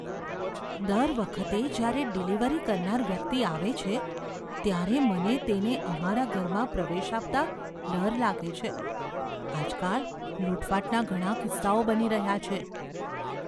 દર વખતે જ્યારે ડિલિવરી કરનાર વ્યક્તિ આવે છે, ત્યારે મને તેને અમારા ઘરમાં પ્રવેશ આપતાં ડર લાગે છે. આજકાલ લૂંટફાટના ઘણા કિસ્સાઓ બની રહ્યા છે.